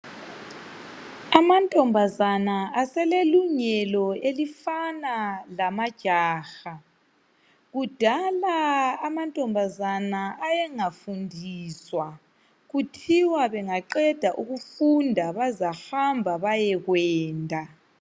Amantombazana aselelungelo elifana lamajaha. Kudala amantombazana ayengafundiswa kuthiwa bengaqeda ukufunda bazahamba bayekwenda.